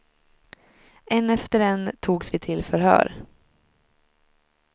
En efter en togs vi till förhör.